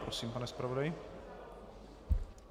Prosím, pane zpravodaji.